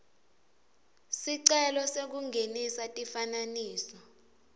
sicelo sekungenisa tifananiso